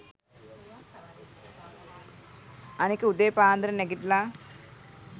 අනික උදේ පාන්දර නැගිටලා